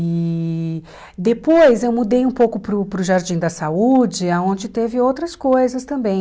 E depois eu mudei um pouco para o para o Jardim da Saúde, aonde teve outras coisas também.